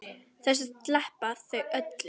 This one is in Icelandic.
Þessu sleppa þau öllu.